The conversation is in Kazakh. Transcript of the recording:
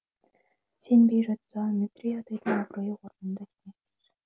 сенбей жатса метрей атайдың абыройы орнында деген сөз